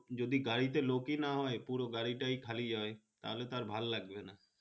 যদি গাড়িটাই লোকই না হয় পুরো গাড়ি তা খালি যাই তাহলে তো আর ভালো লাগবে না